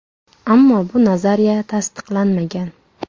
Ammo bu nazariya tasdiqlanmagan.